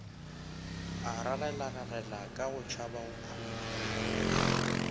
a rarelararela ka go tšhabagophula